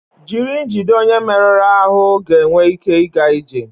jiri njide onye merụrụ ahụ ga-enwe ike ịga ije